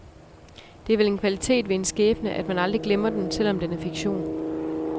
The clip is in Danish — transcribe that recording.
Det er vel en kvalitet ved en skæbne, at man aldrig glemmer den, selv om den er fiktion.